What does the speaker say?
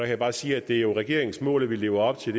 jeg bare sige at det jo er regeringens mål at vi lever op til